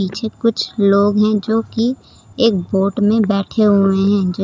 पीछे कुछ लोग हैं जो की एक बोट में बैठे हुए हैं जिस--